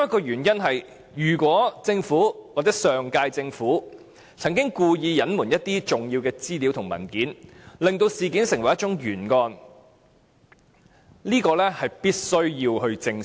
如果上屆政府曾經故意隱瞞一些重要的資料和文件，令事件成為一宗懸案，我們必須正視。